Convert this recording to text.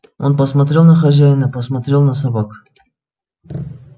он посмотрел на хозяина посмотрел на собак